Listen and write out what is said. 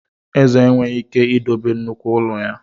Eze enweghị ike idobe nnukwu ụlọ ya.